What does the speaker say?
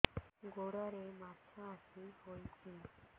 ଗୋଡ଼ରେ ମାଛଆଖି ହୋଇଛି